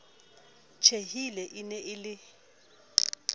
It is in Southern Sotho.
tjhehile e ne e le